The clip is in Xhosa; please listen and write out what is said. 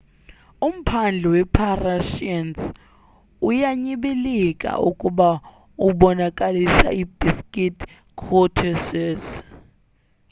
umphandle we parisians uyanyibilika ukuba ubonakalisa i basic courtesies